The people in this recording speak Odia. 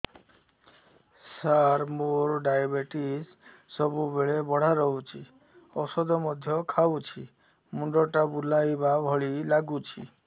ସାର ମୋର ଡାଏବେଟିସ ସବୁବେଳ ବଢ଼ା ରହୁଛି ଔଷଧ ମଧ୍ୟ ଖାଉଛି ମୁଣ୍ଡ ଟା ବୁଲାଇବା ଭଳି ଲାଗୁଛି